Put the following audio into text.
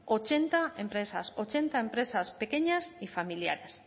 ochenta empresas ochenta empresas pequeñas y familiares